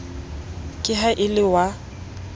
ka ha e le wa